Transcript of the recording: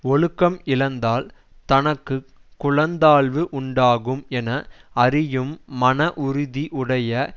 ஒழுக்கம் இழந்தால் தனக்கு குலத்தாழ்வு உண்டாகும் என அறியும் மன உறுதி உடைய